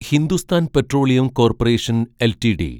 Hindustan Petroleum Corporation LTD